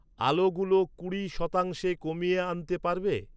আলোগুলো কুড়ি শতাংশে কমিয়ে আনতে পারবে?